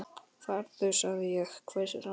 Farðu sagði ég, hvæsir hann.